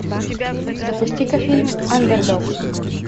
запусти ка фильм андердог